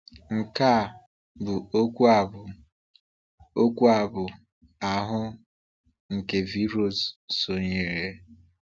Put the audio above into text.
Nke a bụ okwu a bụ okwu abụ ahụ, nke V. Rose so nyere.